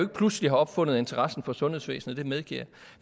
pludselig har opfundet interessen for sundhedsvæsenet det medgiver